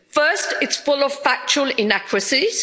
First, it's full of factual inaccuracies.